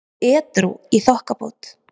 og edrú í þokkabót.